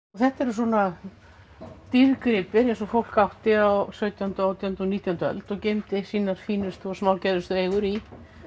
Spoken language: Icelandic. þetta eru svona dýrgripir eins og fólk átti á sautjánda átjándu og nítjándu öld og geymdi sínar fínustu og eigur í